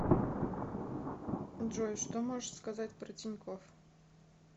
джой что можешь сказать про тинькофф